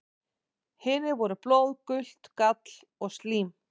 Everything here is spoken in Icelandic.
Hinir voru blóð, gult gall og slím.